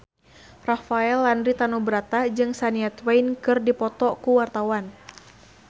Rafael Landry Tanubrata jeung Shania Twain keur dipoto ku wartawan